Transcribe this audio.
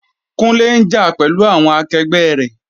Kunle ń jà pẹ̀lú àwọn akẹgbẹ́ rẹ̀.